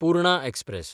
Purna express